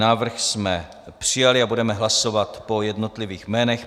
Návrh jsme přijali a budeme hlasovat po jednotlivých jménech.